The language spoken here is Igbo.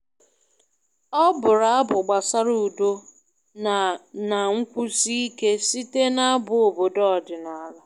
Ọ bụrụ abụ gbasara udo na na nkwụsi ike site n'abụ obodo ọdịnala